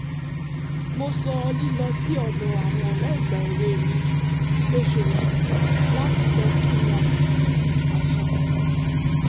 mo sọ lílọ sí ọ̀dọ̀ àwọn ọ̀rẹ́ ìgbà-èwe mi lóṣooṣù láti lọ kí wọn di àṣà